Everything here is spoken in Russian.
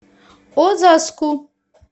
озаску